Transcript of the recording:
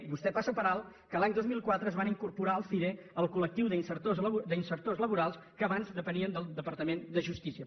vostè passa per alt que l’any dos mil quatre es van incorporar al cire el col·lectiu d’ insertors laborals que abans depenien del departament de justícia